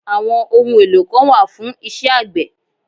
Àwọn ohun èlò kan wà fún isẹ́ àgbẹ̀